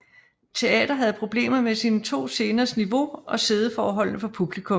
Teater havde problemer med sine 2 sceners niveau og siddeforholdene for publikum